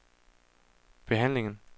behandlingen